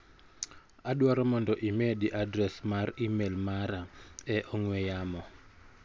Adwaro mondo imedi adres mar imel mara e ong'ue yamo.